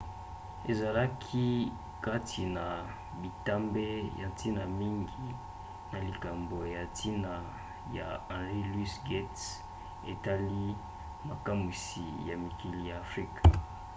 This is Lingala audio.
ezalaki kati na bitambe ya ntina mingi na likambo ya ntina ya henry louis gates etali makamwisi ya mikili ya afrika